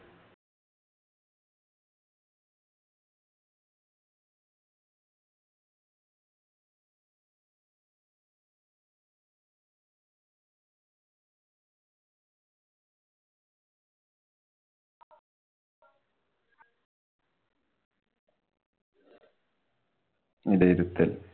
വിലയിരുത്തല്‍